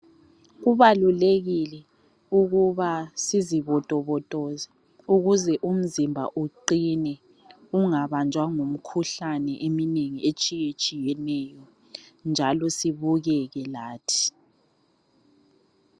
Kubalulekile ukuba sizibotobotoze ukuze umzimba uqine ungabanjwa yimikhuhlane iminingi etshiyetshiyeneyo njalo sibukeke lathi .